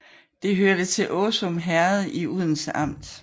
Det hørte til Åsum Herred i Odense Amt